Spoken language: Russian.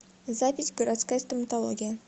запись городская стоматология